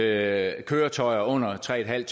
at køretøjer under tre en halv